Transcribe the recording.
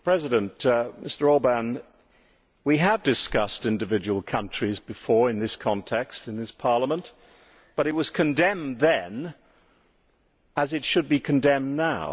Mr President, we have discussed individual countries before in this context and in this Parliament, but it was condemned then as it should be condemned now.